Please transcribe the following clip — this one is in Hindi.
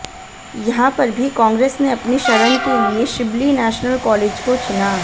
यहां पर भी कांग्रेस ने अपनी शरण के लिए शिब्ली नेशनल कालेज को चुना